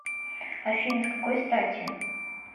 афина с какой стати